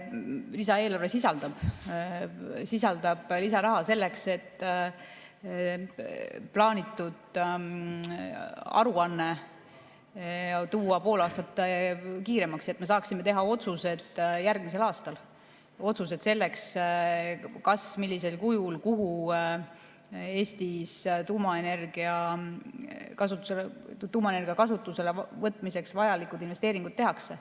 Lisaeelarve sisaldab lisaraha selleks, et plaanitud aruanne tuua pool aastat kiiremaks, et me saaksime teha otsused järgmisel aastal, otsused selle kohta, kas, millisel kujul, kuhu Eestis tuumaenergia kasutusele võtmiseks vajalikud investeeringud tehakse.